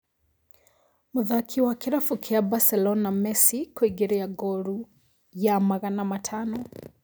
Mũthaki wa Kĩrabu kĩa Barcelona Messi kũingĩria ngolu ya magana matano